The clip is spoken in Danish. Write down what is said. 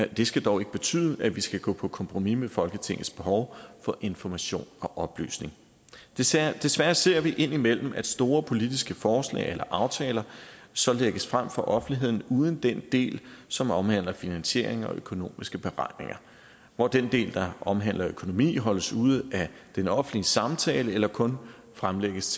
det skal dog ikke betyde at vi skal gå på kompromis med folketingets behov for information og oplysning desværre desværre ser vi indimellem at store politiske forslag eller aftaler så lægges frem for offentligheden uden den del som omhandler finansiering og økonomiske beregninger hvor den del der omhandler økonomi holdes ude af den offentlige samtale eller kun fremlægges